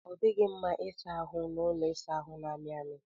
Ọ dịghị mma ịsa ahụ n'ụlọ ịsa ahụ na-amị amị